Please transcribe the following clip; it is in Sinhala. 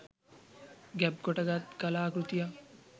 ගැබ් කොට ගත් කලා කෘතියක්